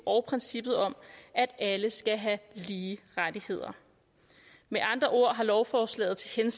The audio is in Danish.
og princippet om at alle skal have lige rettigheder med andre ord har lovforslaget til